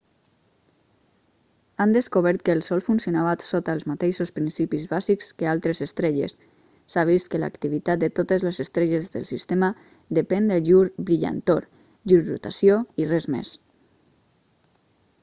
han descobert que el sol funcionava sota els mateixos principis bàsics que altres estrelles s'ha vist que l'activitat de totes les estrelles del sistema depèn de llur brillantor llur rotació i res més